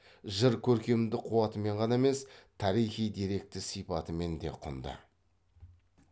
жыр керкемдік қуатымен ғана емес тарихи деректі сипатымен де кұнды